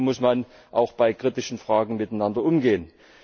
So muss man auch bei kritischen Fragen miteinander umgehen.